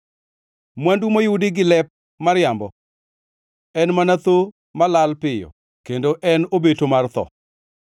Mwandu moyudi gi lep mariambo en mana tho malal piyo kendo en obeto mar tho.